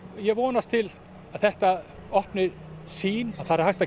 ég vonast til að þetta opni sýn að það er hægt að